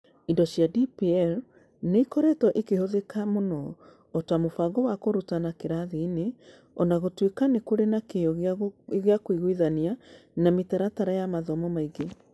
Indo cia DPL nĩ ikoretwo ikĩhũthĩka mũno o ta mũbango wa kũrutana kĩrathiinĩ, o na gũtuĩka nĩ kũrĩ na kĩyo gĩa kũiguithania na mĩtaratara ya mathomo mũingĩ